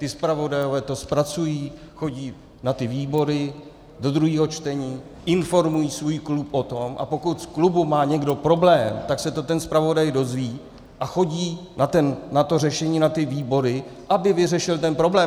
Ti zpravodajové to zpracují, chodí na ty výbory, do druhého čtení, informují svůj klub o tom, a pokud v klubu má někdo problém, tak se to ten zpravodaj dozví a chodí na to řešení na ty výbory, aby vyřešil ten problém.